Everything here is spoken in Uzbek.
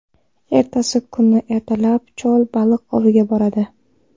Ertasi kuni ertalab chol baliq oviga boradi.